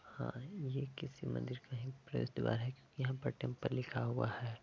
हां ये किसी मन्दिर का ही है प्रवेश द्वार है क्योंकि यहां पे टेंपल लिखा हुआ है।